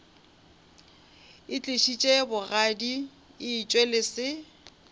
itlišitše bogadi etšwe le se